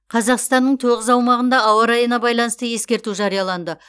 қазақстанның тоғыз аумағында ауа райына байланысты ескерту жарияланды